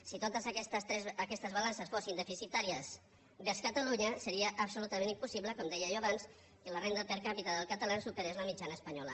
si totes aquestes balances fossin deficitàries vers catalunya seria absolutament impossible com deia jo abans que la renda per capita dels catalans superés la mitjana espanyola